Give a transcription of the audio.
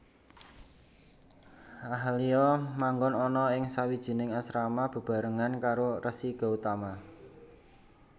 Ahalya manggon ana ing sawijining asrama bebarengan karo Resi Gautama